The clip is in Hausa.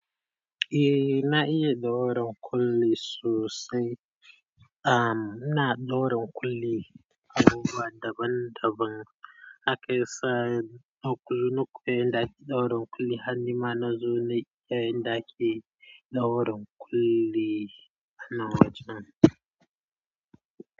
Eh na iya daura kulli sosai. Am, ina daura kulli abubuwa daban-daban akaisa. Na kulli na koya yanda ake ɗaura kulli har nima nazo na iya yanda ake ɗaura ƙulli na wajen.